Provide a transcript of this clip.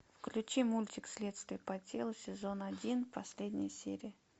включи мультик следствие по телу сезон один последняя серия